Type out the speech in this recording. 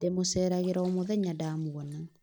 ndĩmuceeragĩra omuthenya ndamuona